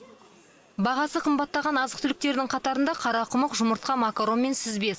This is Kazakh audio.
бағасы қымбаттаған азық түліктердің қатарында қарақұмық жұмыртқа макарон мен сүзбе